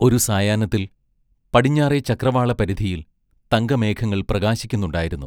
ഒരു സായാഹ്നത്തിൽ, പടിഞ്ഞാറെ ചക്രവാളപരിധിയിൽ തങ്കമേഘങ്ങൾ പ്രകാശിക്കുന്നുണ്ടായിരുന്നു.